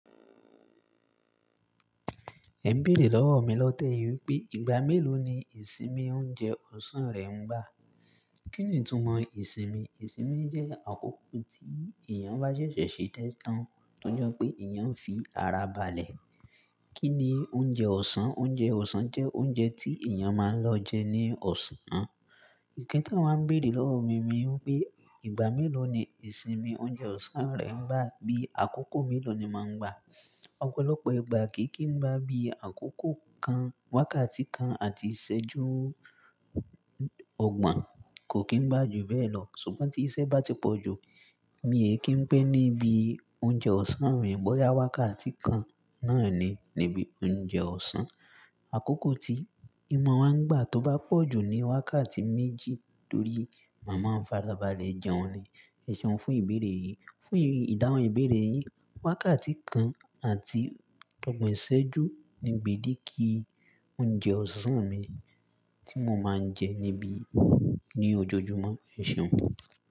Ẹ ń béèrè lọ́wọ́ mi lọ́tẹ̀ yìí pé ìgbà mélòó ni ìsinmi oúnjẹ ọ̀sán rẹ ń gbà. Kí ni ìtumọ̀ ìsinmi? Ìsinmi jẹ́ àkókò tí èèyàn bá sẹ́sẹ̀ ṣe isé tán, tọ́je pé èèyàn ń fi ara balẹ̀. Kí ni oúnjẹ ọ̀sán? Oúnjẹ ọ̀sán jẹ́ oúnjẹ tí èèyàn máa ń lọ jẹ ní ọ̀sán. Ǹkan tí wọ́n ń béèrè lọ́wọ́ mi, ni wípé ìgbà mélòó ni ìsinmi oúnjẹ ọ̀sán rẹ ń gbà bí àkókò mélòó ni máa ń gbà. Ọ̀pọ̀lọpọ̀ ìgbà kì í kí n gbá bí àkókò kan, wákàtí kan àti ìṣẹ́jú ọgbọ̀n kò kí ń gbà jù bẹ́ẹ̀ lọ. Ṣùgbọ́n tí iṣẹ́ bá ti pọ̀jù, mi è kí ń pẹ́ níbi oúnjẹ ọ̀sán mi. Bóyá wákàtí kan náà ni níbi oúnjẹ ọ̀sán. Àkókò tí ìmọ̀ wa ń gbà tó bá pọ̀jù ni wákàtí méjì torí màá máa ń fara balẹ̀ jẹun ni. Ẹ̀ṣọ́ fún ìbéèrè yìí. Fún ìdáhùn ìbéèrè yìn, wákàtí kan àti ọgbọ̀n ìṣẹ́jú ni gbédéke oúnjẹ ọ̀sán mi tí mo máa ń jẹ níbi ní ojoojúmọ́. Ẹ̀ṣọ́.